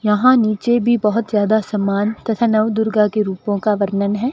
यहां नीचे भी बहोत ज्यादा सामान तथा नवदुर्गा के रूपों का वर्णन है।